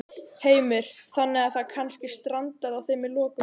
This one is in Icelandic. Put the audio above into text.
Heimir: Þannig að það kannski strandar á þeim í lokum?